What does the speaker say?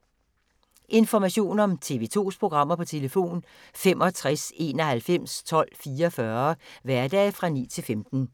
Information om TV 2's programmer: 65 91 12 44, hverdage 9-15.